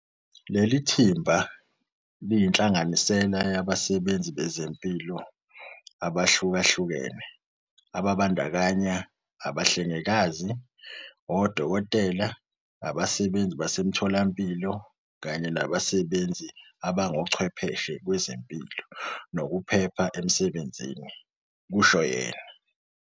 "Leli thimba liyinhlanganisela yabasebenzi bezempilo abahlukahlukene, ababandakanya abahlengikazi, odokotela, abasebenzi basemitholampilo kanye nabasebenzi abangochwepheshe kwezempilo nokuphepha emsebenzini," kusho yena.